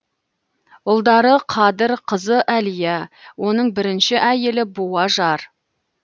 ұлдары қадыр қызы әлия оның бірінші әйелі буажар